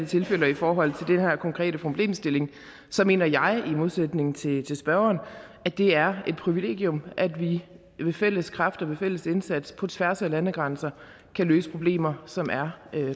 tilfælde og i forhold til den her konkrete problemstilling mener jeg i modsætning til spørgeren at det er et privilegium at vi ved fælles kræfter og ved fælles indsats på tværs af landegrænser kan løse problemer som er